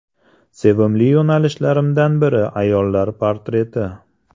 Sevimli yo‘nalishlarimdan biri ayollar portreti.